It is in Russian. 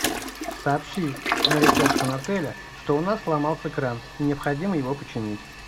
сообщи на ресепшн отеля что у нас сломался кран и необходимо его починить